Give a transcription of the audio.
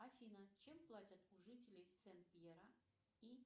афина чем платят у жителей сен пьера и